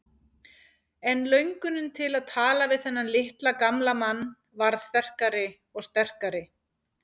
En löngunin til að tala við þennan litla gamla mann varð sterkari og sterkari.